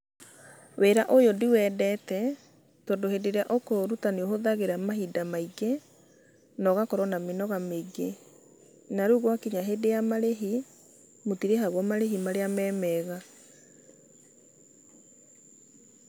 Wĩra ũyũ ndiwendete, tondũ hĩndĩ ĩrĩa ũkũũruta nĩũhũthagĩra mahinda maingĩ nogakorwo na mĩnoga mĩingĩ. Na rĩu gwakinya hĩndĩ ya marĩhi mũtirĩhagwo marĩhi marĩa me mega.